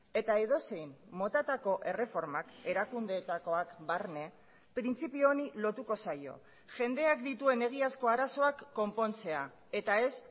eta edozein motatako erreformak erakundeetakoak barne printzipio honi lotuko zaio jendeak dituen egiazko arazoak konpontzea eta ez